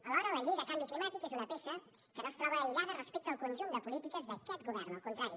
alhora la llei del canvi climàtic és una peça que no es troba aïllada respecte al conjunt de polítiques d’aquest govern al contrari